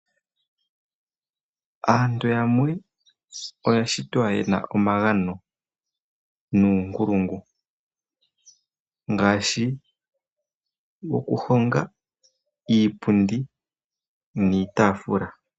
Aantu yamwe oya shitwa yena omagano nuunkulungu. Ngaashi, oku honga iipundi niitafula.